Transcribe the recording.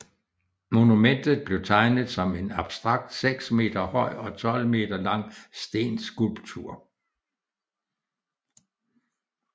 Monumentet blev tegnet som en abstrakt seks meter høj og 12 meter lang stenskulptur